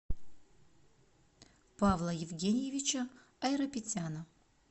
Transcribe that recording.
павла евгеньевича айрапетяна